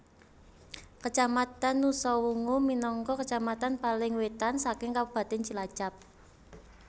Kacamatan Nusawungu minangka kacamatan paling wetan saking kabupatèn Cilacap